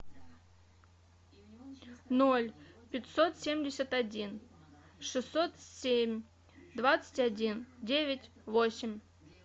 ноль пятьсот семьдесят один шестьсот семь двадцать один девять восемь